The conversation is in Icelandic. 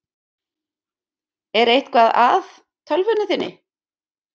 Er eitthvað að tölvunni þinni?